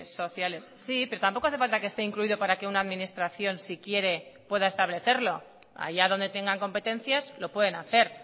sociales sí pero tampoco hace falta que esté incluido para que una administración si quiere lo pueda establecerlo allá donde tenga competencias lo pueden hacer